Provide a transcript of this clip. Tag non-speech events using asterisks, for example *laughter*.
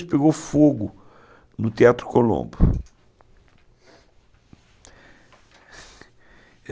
Pegou fogo no Teatro Colombo *cries*